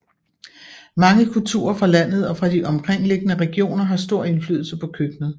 Mange kulturer fra landet og fra de omkringliggende regioner har stor indflydelse på køkkenet